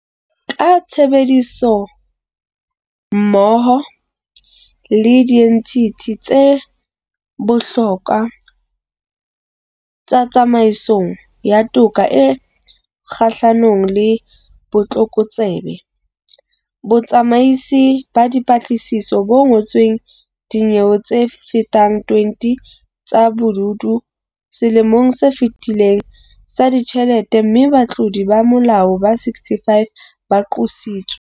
Ka tshebedisanommoho le dienthithi tse bohlokwa tsa tsamaisong ya toka e kgahlano le botlokotsebe, Botsamaisi ba Dipatlisiso bo ngodisitse dinyewe tsefetang 20 tsa bobodu selemong se fetileng sa ditjhelete mme batlodi ba molao ba 65 ba qositswe.